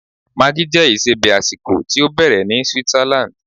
Maggi jẹ́ isebẹ̀ àsìkò tí ó bẹ̀rẹ̀ ní Switzerland.